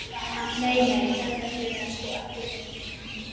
Nei, nei, þetta hefur sko ekki verið neinn hundur.